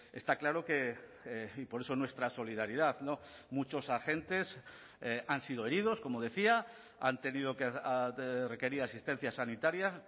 está claro que y por eso nuestra solidaridad muchos agentes han sido heridos como decía han tenido que requerir asistencia sanitaria